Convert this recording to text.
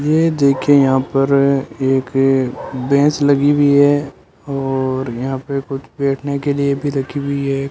ये देखें यहां पर एक भैंस लगी हुई है और यहां पे कुछ बैठने के लिए भी रखी हुई है।